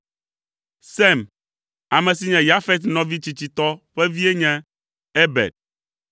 Sem, ame si nye Yafet nɔvi tsitsitɔ ƒe vie nye Eber.